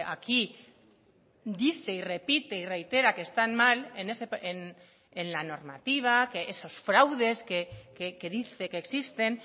aquí dice y repite y reitera que están mal en la normativa que esos fraudes que dice que existen